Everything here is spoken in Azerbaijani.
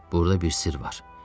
Burada bir sirr var.